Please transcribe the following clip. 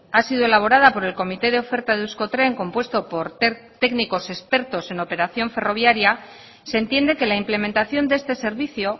ha sido elaborada por el comité de oferta de euskotren compuesto por técnicos expertos en operación ferroviaria se entiende que la implementación de este servicio